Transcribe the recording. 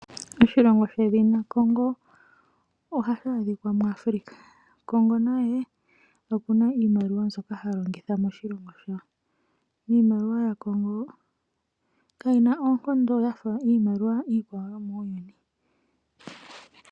Oshilongo shedhina Congo ohashi adhika muAfrica. Congo naye oku na iimaliwa mbyoka ha longitha moshilongo shawo. Iimaliwa yaCongo kayi na oonkondo ya fa iimaliwa iikwawo yomuuyuni.